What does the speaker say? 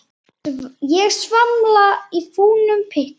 Ég svamla í fúlum pytti.